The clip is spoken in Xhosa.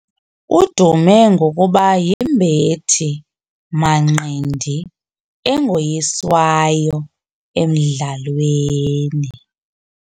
Udume ngokuba yimbethi-manqindi engoyiswayo emdlalweni.